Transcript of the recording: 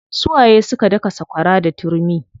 Su waye suka daka sakwara da turmi?